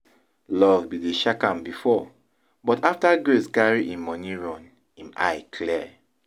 Love bin dey shack am before but after Grace carry im money run, im eye clear